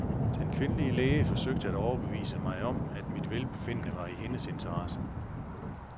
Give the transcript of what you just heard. Den kvindelige læge forsøgte at overbevise mig om, at mit velbefindende var i hendes interesse.